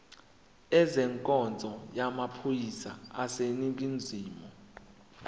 ezenkonzo yamaphoyisa aseningizimu